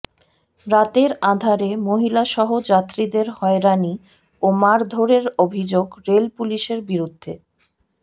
রাতের আঁধারে মহিলাসহ যাত্রীদের হয়রানি ও মারধরের অভিযোগ রেলপুলিশের বিরুদ্ধে